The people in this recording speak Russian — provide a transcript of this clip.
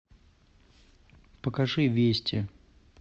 покажи вести